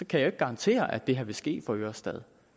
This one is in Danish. kan jo ikke garantere at det her vil ske i for ørestad